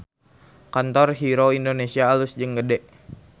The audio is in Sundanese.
Kantor Hero Indonesia alus jeung gede